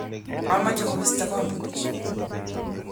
kamech kobisto kampunit